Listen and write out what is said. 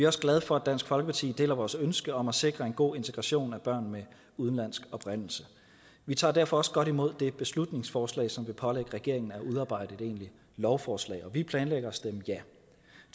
også glade for at dansk folkeparti deler vores ønske om at sikre en god integration af børn med udenlandsk oprindelse vi tager derfor også godt imod det beslutningsforslag som vil pålægge regeringen at udarbejde et egentligt lovforslag og vi planlægger at stemme ja